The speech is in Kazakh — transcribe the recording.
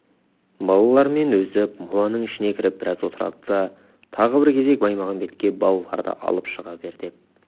балалар мен өзі моланың ішіне кіріп біраз отырады да тағы бір кезек баймағамбетке балаларды алып шыға бер деп